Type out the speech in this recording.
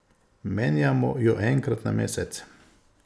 Menjamo jo enkrat na mesec.